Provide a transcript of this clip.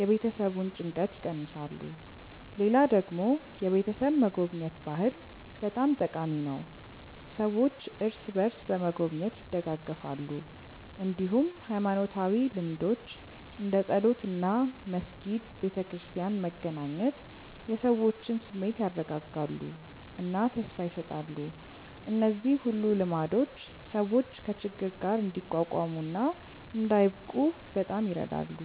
የቤተሰቡን ጭንቀት ይቀንሳሉ። ሌላ ደግሞ የቤተሰብ መጎብኘት ባህል በጣም ጠቃሚ ነው፤ ሰዎች እርስ በርስ በመጎብኘት ይደጋገፋሉ። እንዲሁም ሃይማኖታዊ ልምዶች እንደ ጸሎት እና መስጊድ/ቤተክርስቲያን መገናኘት የሰዎችን ስሜት ያረጋጋሉ እና ተስፋ ይሰጣሉ። እነዚህ ሁሉ ልማዶች ሰዎች ከችግር ጋር እንዲቋቋሙ እና እንዳይብቁ በጣም ይረዳሉ።